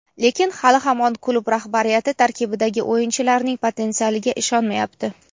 lekin hali hamon klub rahbariyati tarkibdagi o‘yinchilarning potensialiga ishonmayapti.